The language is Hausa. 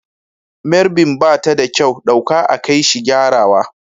Mairbin bata da kyau, ɗauka a kaishi gyarawa.